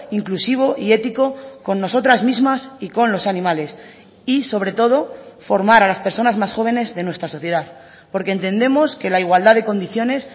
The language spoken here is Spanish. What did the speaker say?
inclusivo y ético con nosotras mismas y con los animales y sobre todo formar a las personas más jóvenes de nuestra sociedad porque entendemos que la igualdad de condiciones